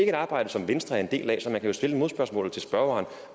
et arbejde som venstre er en del af så man kan jo stille et modspørgsmål til spørgeren